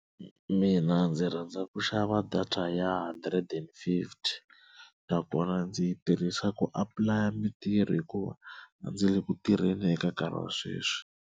Mina ndzi rhandza ku xava data ya hundred and fifty na kona ndzi yi tirhisa ku apply mitirho hikuva a ndzi le ku tirheni eka nkarhi wa sweswi.